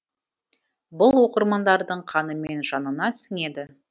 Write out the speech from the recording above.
бұл оқырмандардың қаны мен жанына сіңеді